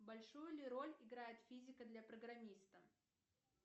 большую ли роль играет физика для программиста